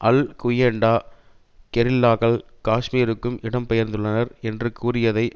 அல் Qaeda கெரில்லாக்கள் காஷ்மீருக்கு இடம் பெயர்ந்துள்ளனர் என்று கூறியதை